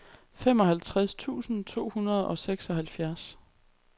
femoghalvtreds tusind to hundrede og seksoghalvfjerds